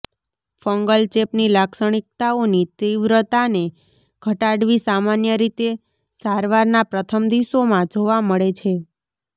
fungal ચેપની લાક્ષણિકતાઓની તીવ્રતાને ઘટાડવી સામાન્ય રીતે સારવારના પ્રથમ દિવસોમાં જોવા મળે છે